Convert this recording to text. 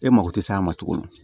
E mako tɛ se a ma cogo min na